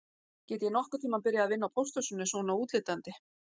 Get ég nokkurn tíma byrjað að vinna á pósthúsinu svona útlítandi